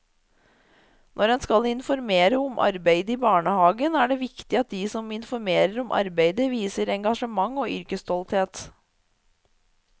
Når en skal informere om arbeidet i barnehagen er det viktig at de som informerer om arbeidet viser engasjement og yrkesstolthet.